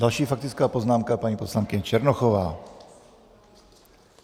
Další faktická poznámka, paní poslankyně Černochová. .